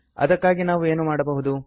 ಇದಕ್ಕಾಗಿ ನಾವೇನು ಮಾಡಬಹುದು